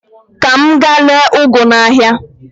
Ka m gaa ree ụgụ ahụ n'ahịa.